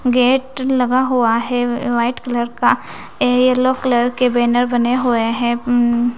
Gate लगा हुआ है वाइट कलर का येलो कलर के बैनर बने हुए हैं।